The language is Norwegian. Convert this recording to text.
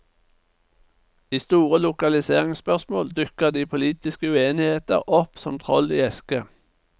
I store lokaliseringsspørsmål dukker de politiske uenigheter opp som troll i eske.